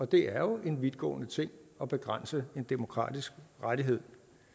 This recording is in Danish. det er jo en vidtgående ting at begrænse en demokratisk rettighed